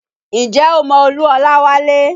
Ǹjẹ́ o mọ Olú Olawale?